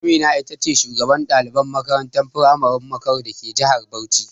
Amina ce shugaban ɗaliban makarantar firamaren Bakaro dake jihar Bauchi.